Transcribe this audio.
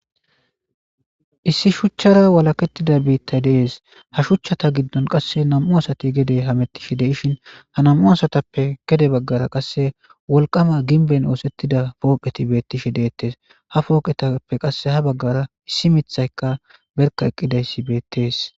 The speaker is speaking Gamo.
issi shuchchara walakettida biittay dees ha shuchchata giddon qasse nam7u asati gede hamettishi deishin ha nam7u asatappe gede baggara qasse wolqama ginbeyn oosettida pooqeti beettishe deettes ha pooqetappe qasse ha baggara issi mithayka berka eqqidayssi beettees